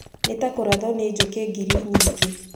Nĩ ta kũrathwo nĩ njũki ngiri nyingĩ.